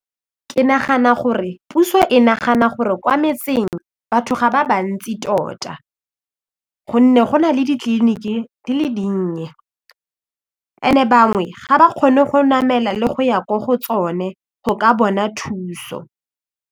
Ke nagana gore puso e nagana gore kwa metseng batho ga ba ba ntsi tota gonne go na le ditleliniki di le dinnye and-e bangwe ga ba kgone go namela le go ya ko go tsone go ka bona thuso.